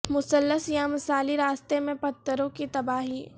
مثلث یا مثالی راستہ میں پتھروں کی تباہی